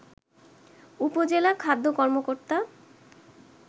উপজেলা খাদ্য কর্মকর্তা